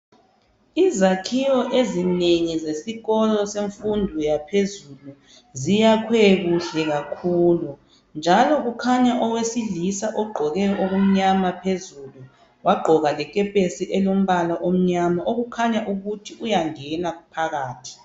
Izakhiwo ezinengi zesikolo semfundo yaphezulu ziyakhiwe kuhle kakhulu. Njalo kukhanya owesilisa ogqoke okumnyama phezulu, wagqoka lekepesi elombala omnyama okukhanya ukuthi uyangena phakathi.